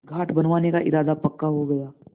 घाट बनवाने का इरादा पक्का हो गया